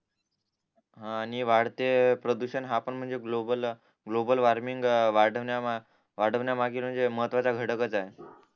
हा आणि वाढते प्रदूषण हा पण म्हणजे ग्लोबल ग्लोबल वॉर्मिंग वाढवण्या मागील म्हणजे मत्त्वाचा घटकचं आहे